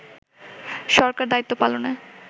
সরকার দায়িত্ব পালনে